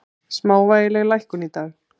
Smávægileg lækkun í dag